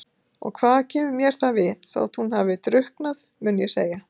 Og hvað kemur mér það við þótt hún hafi drukknað, mun ég segja.